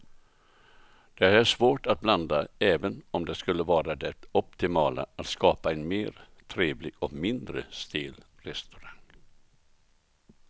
Det är svårt att blanda även om det skulle vara det optimala att skapa en mer trevlig och mindre stel restaurang.